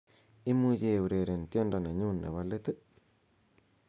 imuche eureren tiendo nenyun nepo leet ii